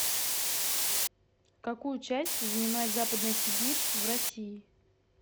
какую часть занимает западная сибирь в россии